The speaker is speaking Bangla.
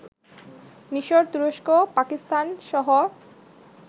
মিশর, তুরস্ক, পাকিস্তানসহ